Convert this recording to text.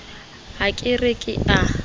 ha ke re ke a